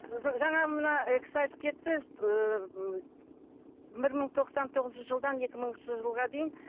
жаңа мына і кісі айтып кетті ыыы бір мың тоқсан тоғызыншы жылдан екі мыңыншы жылға дейін